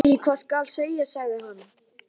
Ég veit ekki hvað skal segja sagði hann.